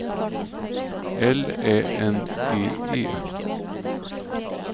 L Ä N G E